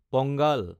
Pongal